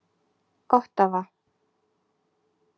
Ottawa